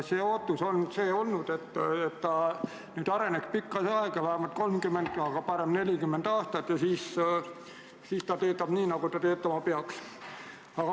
See ootus on olnud, et kogutakse pikka aega, vähemalt 30, aga parem, kui 40 aastat, ja siis see toimib nii, nagu toimima peaks.